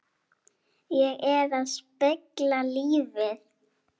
Ég er að spegla lífið.